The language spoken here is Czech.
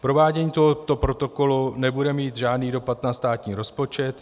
Provádění tohoto protokolu nebude mít žádný dopad na státní rozpočet.